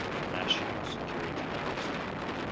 national security council